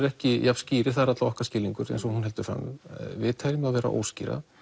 ekki jafn skýrir eða það er allavega okkar skilningur eins og hún heldur fram við teljum þá vera óskýra